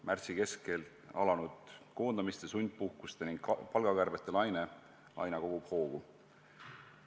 Märtsi keskel alanud koondamiste, sundpuhkuste ning palgakärbete laine aina kogub hoogu.